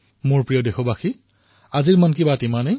মোৰ মৰমৰ দেশবাসীসকল আজিৰ মন কী বাতত ইমানেই